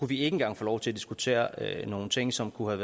vi ikke engang få lov til at diskutere nogle ting som kunne